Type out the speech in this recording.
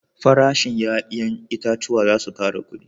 Farashin 'ya'yan itatuwa za su kara kudi